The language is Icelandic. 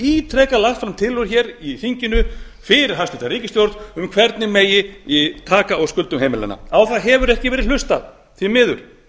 ítrekað lagt fram tillögur í þinginu fyrir hæstvirt ríkisstjórn um hvernig megi taka á skuldum heimilanna á það hefur ekki verið hlustað því miður